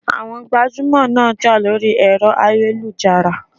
Àwọn gbajúmọ̀ ń jà lórí ẹ̀rọ ayélujára.